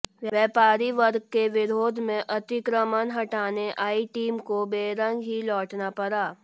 व्यापारी वर्ग के विरोध में अतिक्रमण हटाने आई टीम को बैरंग ही लौटना पड़ा